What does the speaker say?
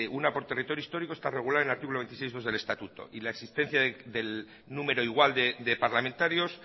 una por territorio histórico está regulado en el artículo veintisiete punto dos del estatuto y la existencia del número igual de parlamentarios